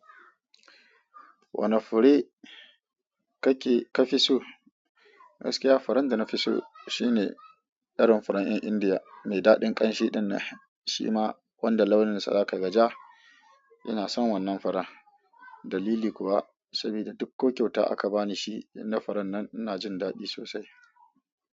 Wane fure kake ka fi so? Gaskiya furan da na fi so shine irin farin 'yan indiya mai daɗin ƙanshi ɗinnan shi ma wanda launinsa zaka ga ji. Ina son wannan farar dalili kuwa sabida duk ko kyauta aka bani shi na faran nan ina jin daɗi sosai.